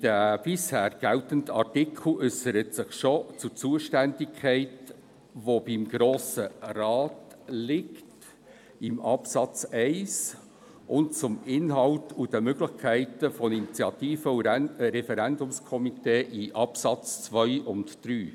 Der bisher geltende Artikel äussert sich schon zur Zuständigkeit, welche beim Grossen Rat liegt gemäss Absatz 1 und zum Inhalt sowie den Möglichkeiten von Initiativ- und Referendumskomitees gemäss den Absätzen 2 und 3.